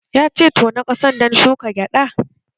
Ya ce 'Tona ƙasan dan shuka gyada'!